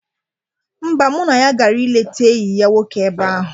Mba, mụ na ya gara ileta enyi ya nwoke ebe ahụ.